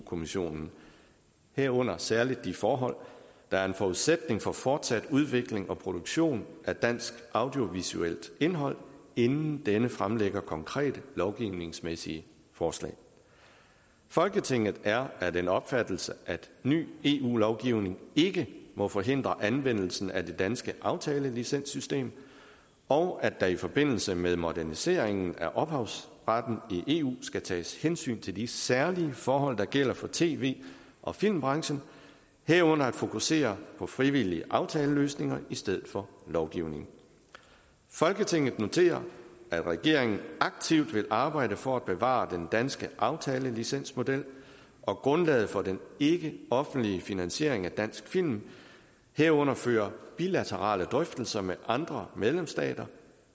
kommissionen herunder særligt de forhold der er en forudsætning for fortsat udvikling og produktion af dansk audiovisuelt indhold inden denne fremlægger konkrete lovgivningsmæssige forslag folketinget er af den opfattelse at ny eu lovgivning ikke må forhindre anvendelsen af det danske aftalelicenssystem og at der i forbindelse med moderniseringen af ophavsretten i eu skal tages hensyn til de særlige forhold der gælder for tv og filmbranchen herunder at fokusere på frivillige aftaleløsninger i stedet for lovgivning folketinget noterer at regeringen aktivt vil arbejde for at bevare den danske aftalelicensmodel og grundlaget for den ikke offentlige finansiering af dansk film herunder føre bilaterale drøftelser med andre medlemsstater